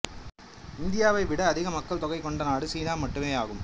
இந்தியாவை விட அதிக மக்கள்தொகை கொண்ட நாடு சீனா மட்டுமேயாகும்